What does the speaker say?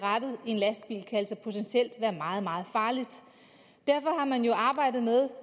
rattet i en lastbil kan altså potentielt være meget meget farligt derfor har man jo